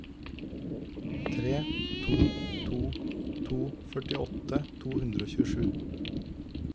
tre to to to førtiåtte to hundre og tjuesju